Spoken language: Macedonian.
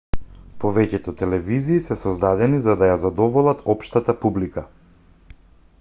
повеќето телевизии се создадени за да ја задоволат општата публика